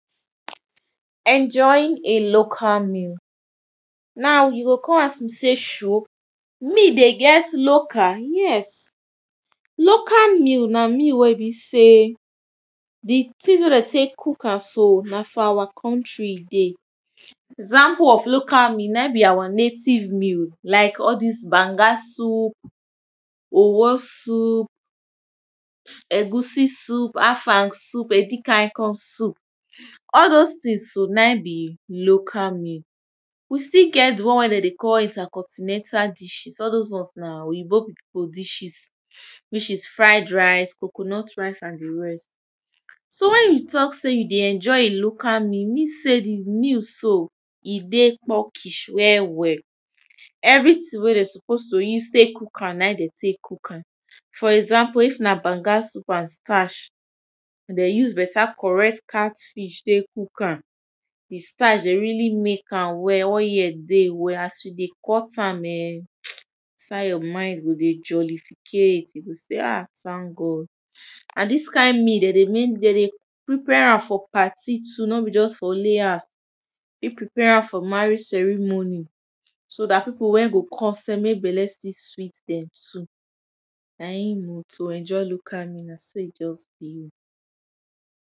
Enjoying a local meal, now you go kon ask me sey shu! meal dey get local, yes!. Local meal na meal wey be sey di tins wey dey take cook am so na for our country e dey, example of local meal naim be our native meal like all dis banger soup, owo soup, eggs soup, a afang soup, edikaiko soup, all dose tins so naim be local meal. We still get di one wey dey dey call intercontinental dishes all dose ones na oyibo pipu dishes which is fried rice, coconut rice and di rest. So wen we talk sey you dey enjoy a local meal e mean sey di meal so e dey pukish well well everytin wey dem suppose to use take cook am naim dem take cook am for example if na banga soup and starch e dey use better correct cat fish take cook am, di starch dem really make well oil dey well as you dey cut am [urn] inside your mind go dey jollificate, you go sey ah! tank God, na dis kind meal dey dey [2] dey dey prepare am for party too no be just for only house you fit prepare am for marriage ceremony so dat pipu wey go come sef make belle still sweat dem too naim oh to enjoy local meal naso e just be.